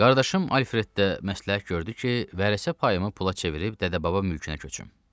Qardaşım Alfreddə məsləhət gördü ki, vərəsə payımı pula çevirib dədə-baba mülkünə köçüm.